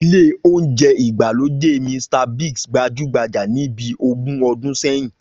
Ilé oúnjẹ ìgbàlódé Mr Biggs gbajúgbajà ní bí ogún ọdún sẹ́yìn